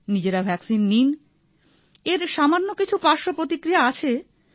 নিজেরা ভাক্সিন নিন এর সামান্য কিছু পার্শ্ব প্রতিক্রিয়া আছে